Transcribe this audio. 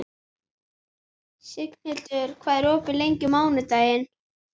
Signhildur, hvað er opið lengi á mánudaginn?